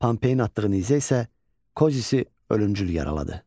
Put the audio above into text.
Pompeyin atdığı nizə isə Kozisi ölümcül yaraladı.